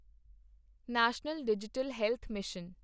national digital health mission